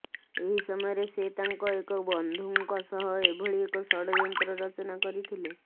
ଏହି ସମୟରେ ସେ ତାଙ୍କ ଏକ ବନ୍ଧୁଙ୍କ ସହ ଏଭଳି ଏକ ଷଡଯନ୍ତ୍ର ରଚନା କରିଥିଲେ